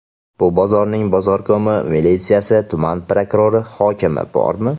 Bu bozorning bozorkomi, militsiyasi, tuman prokurori, hokimi bormi?